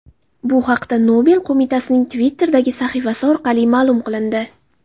Bu haqda Nobel qo‘mitasining Twitter’dagi sahifasi orqali ma’lum qilindi .